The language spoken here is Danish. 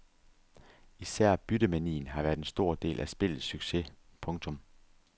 Især byttemanien har været en stor del af spillets succes. punktum